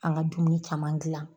An ka dumuni caman gilan.